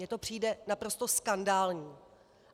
Mně to přijde naprosto skandální.